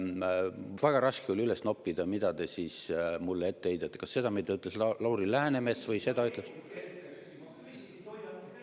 Väga raske oli üles noppida, mida te siis mulle ette heidate – kas seda, mida ütles Lauri Läänemets, või seda, mida ütles …